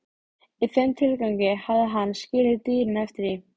Þar gæti hann fylgst með gleðifregnunum frá meginlandi Evrópu.